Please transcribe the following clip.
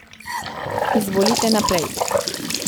Izvolite naprej.